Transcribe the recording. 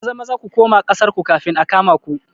Maza-Maza ku kuma ƙasar ku kafin a kama ku